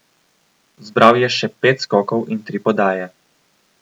Zbral je še pet skokov in tri podaje.